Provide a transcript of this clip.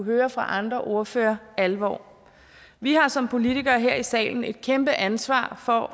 høre fra andre ordførere alvor vi har som politikere her i salen et kæmpe ansvar for